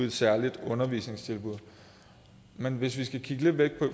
et særligt undervisningstilbud men hvis vi skal kigge lidt væk